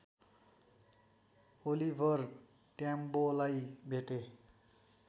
Oliver ट्याम्बोलाई भेटे